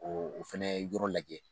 O fana yɔrɔ lajɛ